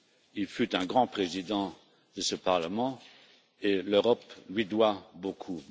Il fut un grand Président de ce Parlement et l'Europe lui doit beaucoup.